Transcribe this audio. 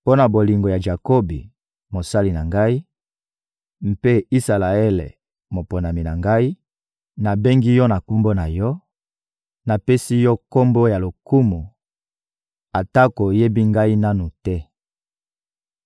Mpo na bolingo ya Jakobi, mosali na Ngai, mpe Isalaele, moponami na Ngai, nabengi yo na kombo na yo, napesi yo kombo ya lokumu atako oyebi Ngai nanu te.